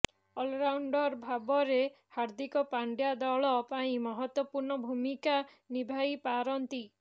allrounder ଭାବରେ ହାର୍ଦ୍ଦିକ ପାଣ୍ଡ୍ୟା ଦଳ ପାଇଁ ମହତ୍ୱପୂର୍ଣ୍ଣ ଭୂମିକା ନିଭାଇ ପାରନ୍ତି